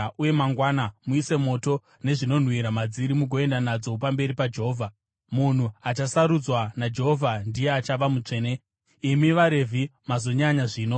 uye mangwana muise moto nezvinonhuhwira madziri mugoenda nadzo pamberi paJehovha. Munhu achasarudzwa naJehovha ndiye achava mutsvene. Imi vaRevhi mazonyanya zvino!”